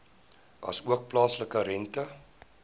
asook plaaslike rente